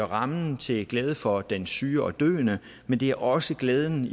rammen til glæde for den syge og døende men det er også glæden